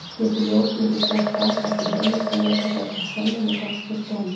Geti ljósmyndir gert það, er því heimilt að nota þær sem sönnunargögn fyrir dómi.